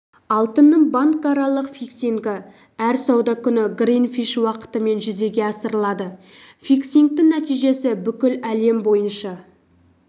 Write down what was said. алтынның банкаралық фиксингі әр сауда күні гринвич уақытымен және жүзеге асырылады фиксингтің нәтижесі бүкіл әлем бойынша